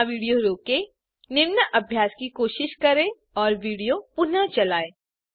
यहाँ विडियो रोकें निम्न अभ्यास की कोशिश करें और विडियो पुनः चलायें